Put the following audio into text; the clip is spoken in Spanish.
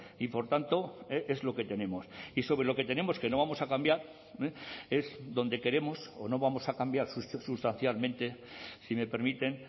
y por tanto es lo que tenemos y sobre lo que tenemos que no vamos a cambiar es donde queremos o no vamos a cambiar sustancialmente si me permiten